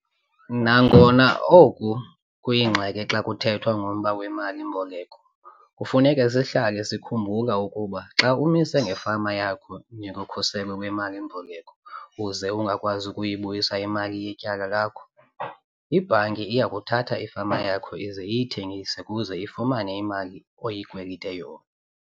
Nangona oku kuyingxaki xa kuthethwa ngomba wemali-mboleko kufuneka sihlale sikhumbula ukuba xa umise ngefama yakho njengokhuselo lwemali-mboleko uze ungakwazi ukubuyisa imali yetyala lakho, ibhanki iya kuthatha ifama yakho ize iyithengise ukuze ifumane imali oyikwelita yona.